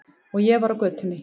Og ég var á götunni.